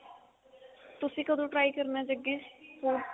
ਤੁਸੀਂ ਕਦੋਂ try ਕਰਨਾ ਜੱਗੀ sweet